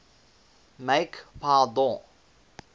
make pass don